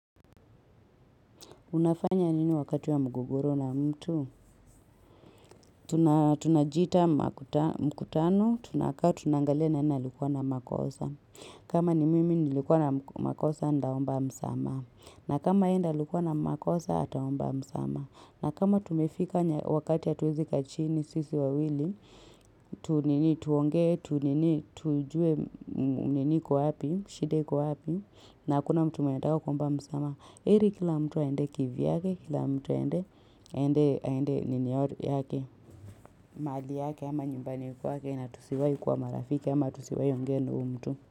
Unafanya nini wakati wa mgogoro na mtu? Tunajiita mkutano, tunakaa tunaangalia nani alikuwa na makosa. Kama ni mimi nilikuwa na makosa ndaomba msamaha. Na kama ye ndio alikuwa na makosa ataomba msamaha. Na kama tumefika wakati hatuwezi kaa chini sisi wawili, tu nini tuonge, tu nini tujuwe nini iko wapi, shida iko wapi, na hakuna mtu mwenye anataka kuomba msamaha. Heri kila mtu aende kivyake, kila mtu aende nini yori yake, mahali yake ama nyumbani yake na tusiwahi kuwa marafiki ama tusiwahi ongea na huyo mtu.